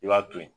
I b'a to ye